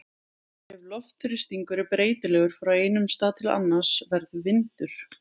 Ef loftþrýstingur er breytilegur frá einum stað til annars verður vindur.